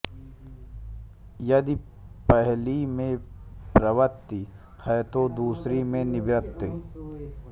यदि पहली में प्रवृत्ति है तो दूसरी में निवृत्ति